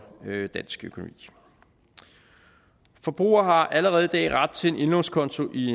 dansk økonomi forbrugere har allerede i dag ret til en indlånskonto i